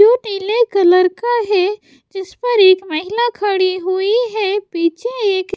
जो नीले कलर का है जिस पर एक महिला खड़ी हुई है पीछे एक --